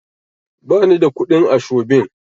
Ba ni da kuɗin ashobin.